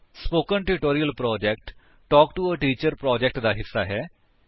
spoken tutorial project talk to a teacher project ਦਾ ਹਿੱਸਾ ਹੈ